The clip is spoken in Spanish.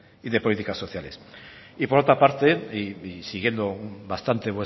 y de políticas sociales y por otra parte y siguiendo bastante